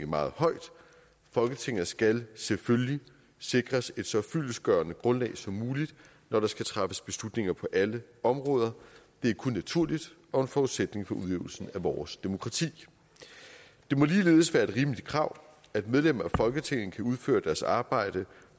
meget højt folketinget skal selvfølgelig sikres et så fyldestgørende grundlag som muligt når der skal træffes beslutninger på alle områder det er kun naturligt og en forudsætning for udøvelsen af vores demokrati det må ligeledes være et rimeligt krav at medlemmer af folketinget kan udføre deres arbejde